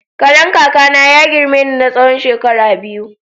Karen kaka na ya girme ni na tsawon shekara biyu.